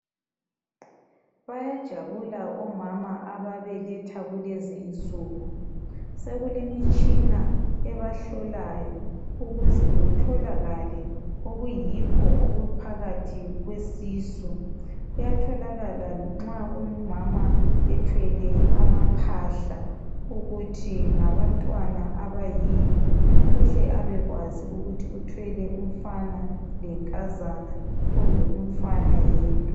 Bayahabula omama ababeletha kulezi insuku. Sekulemitshina ebahlolayo, ukuze kutholakale okuyikho okuphakathi kwesisu. Kuyatholakala nxa umama ethwele amaphahla, ukuthi ngabantwana abayini? Kuyathokakala ukuthi uthwele umfana lenkazana. Kumbe umfana yedwa,